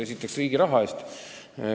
Esiteks, riigi raha eest.